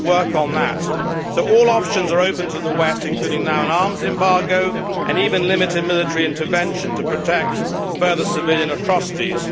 We must work on that, so all options are open to the West including now an arms embargo and even limited military intervention to protect further civilian atrocities.